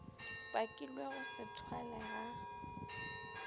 bakilego go se thwalwe ga